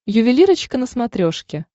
ювелирочка на смотрешке